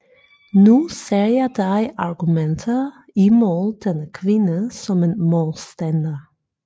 Nu ser jeg dig argumentere imod denne kvinde som en modstander